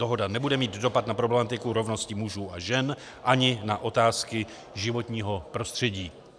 Dohoda nebude mít dopad na problematiku rovnosti mužů a žen ani na otázky životního prostředí.